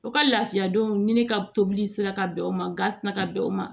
U ka lafiya denw ne ka tobili sera ka bɛn o ma ga sina ka bɛn o ma